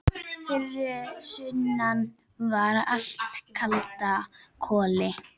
Fyrir sunnan var allt í kalda koli.